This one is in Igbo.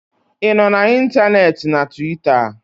ị nọ na ntanetị na Tuweeta?